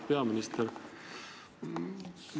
Auväärt peaminister!